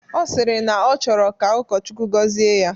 Ọ sịrị na ọ chọrọ ka ụkọchukwu gọzie ya